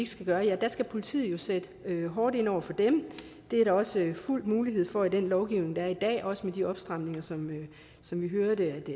skal gøre ja så skal politiet sætte hårdt ind over for dem det er der også fuld mulighed for med den lovgivning der er i dag også med de opstramninger som som vi hørte